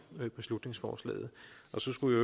beslutningsforslaget og så skulle